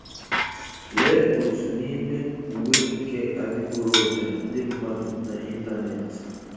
Lee otu n'ime uwe nke adiboroja ndị mmadụ na ịntanetị.